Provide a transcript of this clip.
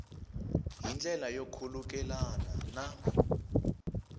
hi ndlela yo khulukelana na